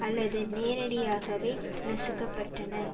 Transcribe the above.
அல்லது நேரடியாகவே நசுக்க பட்டன